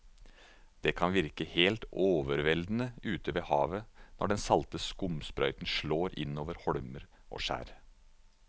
Det kan virke helt overveldende ute ved havet når den salte skumsprøyten slår innover holmer og skjær.